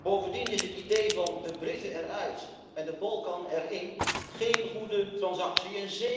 Bovendien is het idee van de Britten eruit en de Balkan erin geen goede transactie.